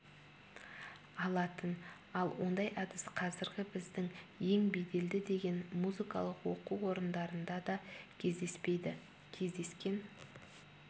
алатын ал ондай әдіс қазіргі біздің ең беделді деген музыкалық оқу орындарында да кездеспейді кездескен